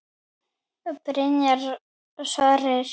Byrjar Sverrir?